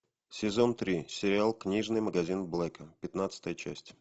сезон три сериал книжный магазин блэка пятнадцатая часть